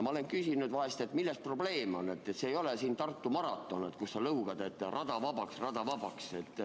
Ma olen vahel küsinud, et milles probleem on, see ei ole siin Tartu maraton, kus sa lõugad, et rada vabaks, rada vabaks.